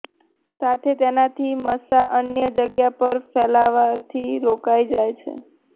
સાથે તેનાથી મસા અન્ય જગ્યા પર ફેલાવવાથી રોકાઇ જાય છે